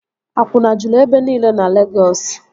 Akwụna juru ebe nile na Legọs